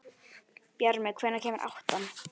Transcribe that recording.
Bjarmi, hvenær kemur áttan?